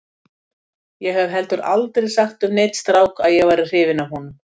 Ég hef heldur aldrei sagt við neinn strák að ég væri hrifin af honum.